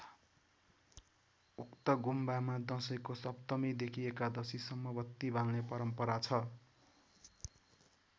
उक्त गुम्बामा दशैको सप्तमीदेखि एकादशीसम्म बत्ती बाल्ने परम्परा छ।